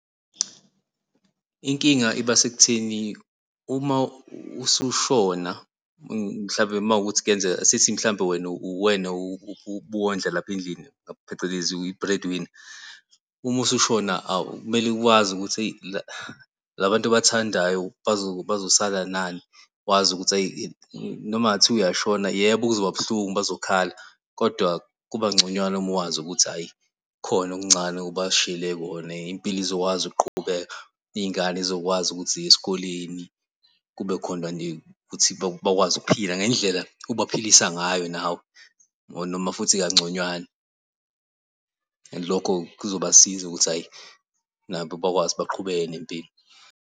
Inkinga ibasekutheni uma usushona mhlawumbe uma kuwukuthi kuyenzeka asithi mhlampe wena uwena ubuwondla lapha endlini phecelezi uyi-breadwinner. Uma usushona kumele wazi ukuthi eyi labantu obathandayo bazosala nani, wazi ukuthi eyi noma kungathiwa uyashona, yebo, kuzoba buhlungu bazokhala, kodwa kubangconywana uma wazi ukuthi hhayi kukhona okuncane, obashiyele kona impilo izokwazi ukuqhubeka iy'ngane zizokwazi ukuthi ziye esikoleni. Kube khona nje ukuthi bakwazi ukuphila ngendlela obaphilisa ngayo nawe or noma futhi kanconywana, and lokho kuzobasiza ukuthi hhayi nabo bakwazi baqhubeke nempilo.